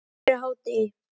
Fyrir hádegi.